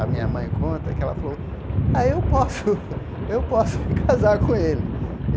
A minha mãe conta que ela falou, ah, eu posso, eu posso me casar com ele.